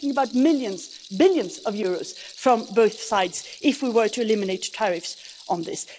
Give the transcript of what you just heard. We're talking about billions of euros from both sides if we were to eliminate tariffs on this.